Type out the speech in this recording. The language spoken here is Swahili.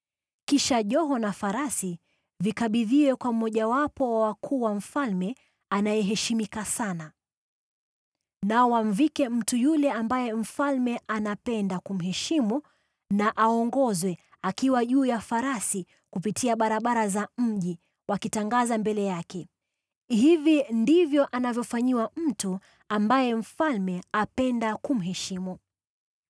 Kisha joho na farasi vikabidhiwe kwa mmojawapo wa wakuu wa mfalme anayeheshimika sana. Nao wamvike mtu yule ambaye mfalme anapenda kumheshimu, na aongozwe akiwa juu ya farasi kupitia barabara za mji, wakitangaza mbele yake, ‘Hivi ndivyo anavyofanyiwa mtu ambaye mfalme apenda kumheshimu!’ ”